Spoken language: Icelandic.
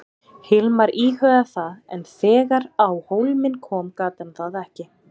Hilmar íhugaði það en þegar á hólminn kom gat hann það ekki.